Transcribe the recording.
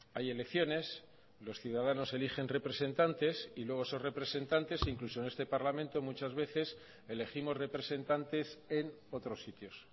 hay elecciones los ciudadanos eligen representantes y luego esos representantes incluso en este parlamento muchas veces elegimos representantes en otros sitios